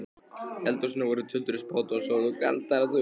eldhúsinu voru tuldruð spádómsorð og galdraþulur.